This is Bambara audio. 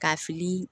Ka fili